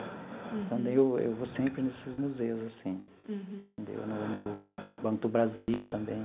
Então, daí eu eu vou sempre nesses museus assim entendeu, no no Banco do Brasil também.